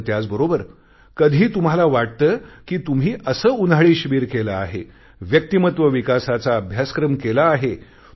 मात्र त्याचबरोबर कधी तुम्हाला वाटते कि तुम्ही असे उन्हाळी शिबीर केले आहे व्यक्तिमत्व विकासाचा अभ्यासक्रम केला आहे